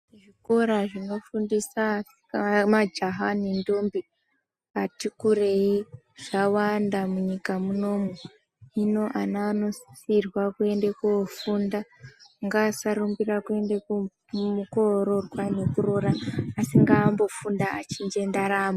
Zvikora zvinofundisa majaha nendombi atikurei zvawanda munyika munomu hino ana anosisirwa kuenda kofunda ngasarumbira kuenda koroorwa kana kuroora asi ngambofunda achinje ndaramo.